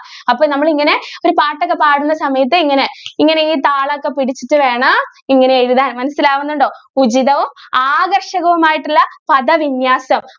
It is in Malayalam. അപ്പൊ നമ്മള് ഇങ്ങനെ ഒരു പാട്ടൊക്കെ പാടുന്ന സമയത്ത് ഇങ്ങനെ, ഇങ്ങനെ താളോക്കെപിടിച്ചിട്ട് വേണം ഇങ്ങനെ എഴുതാൻ. മനസ്സിലാവുന്നുണ്ടോ? ഉചിതവും ആകർഷകവുമായിട്ടുള്ള പദവിന്യാസം.